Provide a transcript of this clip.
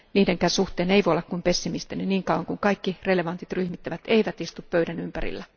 Niidenkään suhteen ei voi olla kuin pessimistinen niin kauan kuin kaikki relevantit ryhmittymät eivät istu pöydän ympärillä.